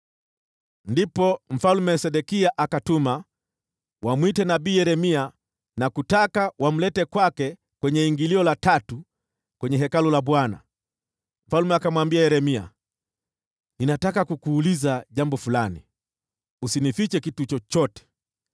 Ndipo Mfalme Sedekia akatuma watu wamwitie nabii Yeremia wamlete kwake kwenye ingilio la tatu la Hekalu la Bwana . Mfalme akamwambia Yeremia, “Ninataka kukuuliza jambo fulani, usinifiche kitu chochote.”